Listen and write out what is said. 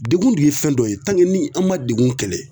Degun dun ye fɛn dɔ ye ni an ma degun kɛlɛ